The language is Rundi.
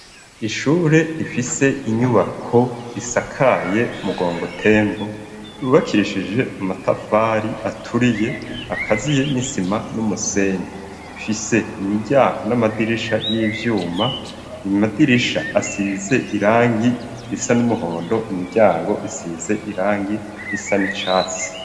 Ishure rifise inyubako risakaye mugongo tembo ubakirishije amatafari aturiye akaziye n'isima n'umusenyi fise imiryago n'amadirisha y'ivyuma imadirisha asize irangi risa n'umuhondo imiryango isize irangi ngi risa ni catsi.